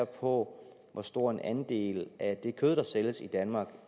på hvor stor en andel af det kød der sælges i danmark